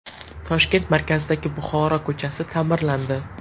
Toshkent markazidagi Buxoro ko‘chasi ta’mirlandi .